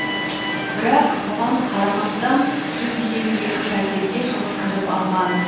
бірақ бұған қарамастан жүз елу екі пәтерге жұрт кіріп алған